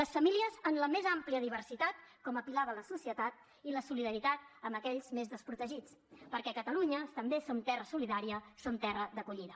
les famílies en la més àmplia diversitat com a pilar de la societat i la solidaritat amb aquells més desprotegits perquè catalunya també som terra solidària som terra d’acollida